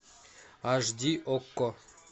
аш ди окко